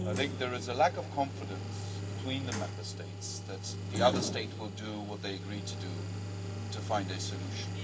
There is a lack of confidence between the Member States that the other state will do what they agreed to do to find a solution.